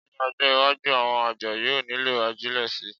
Ní ọjọ́-iwájú, àwọn àgbẹ̀ yóò nílò ajílẹ̀ síi.